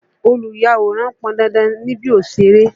Olùyàwòrán pọn dandan níbi òṣèré.